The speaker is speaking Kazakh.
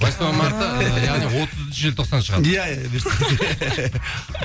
восьмое марта яғни отызыншы желтоқсан шығады иә иә бұйыртса